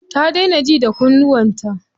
Ta daina ji da kunnuwan ta.